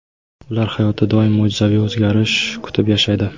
Ular hayotda doim mo‘jizaviy o‘zgarish kutib yashaydi.